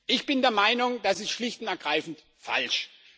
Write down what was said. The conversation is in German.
Ich bin der Meinung, das ist schlicht und ergreifend falsch.